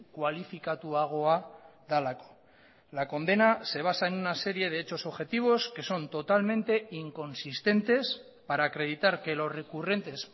kualifikatuagoa delako la condena se basa en una serie de hechos objetivos que son totalmente inconsistentes para acreditar que los recurrentes